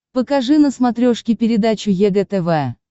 покажи на смотрешке передачу егэ тв